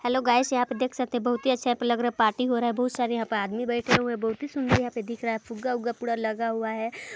Hello guys यहाँ पे देख सकते है बहुत ही अच्छा यहाँ पे लग रहा है पार्टी हो रहा है बहुत सारे यहाँ पे आदमी बैठे हुए है बहुत ही सुन्दर यहाँ पे दिख रहा है फुग्गा-उगा पूरा लगा हुआ है।